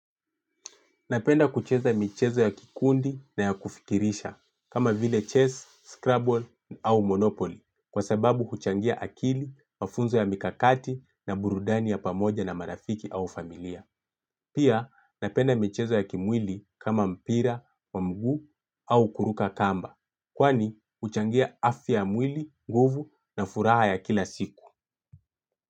Napenda kucheza michezo ya kikundi na ya kufikirisha, kama vile chess, scrabble au monopoly, kwa sababu kuchangia akili, mafunzo ya mikakati na burudani ya pamoja na marafiki au familia. Pia napenda michezo ya kimwili kama mpira wa miguu au kuruka kamba kwani kuchangia afya ya mwili, nguvu na furaha ya kila siku.